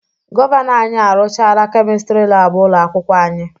Gọvanọ anyị arụchaala Kemịstịrị laabụ ụlọ akwụkwọ anyị.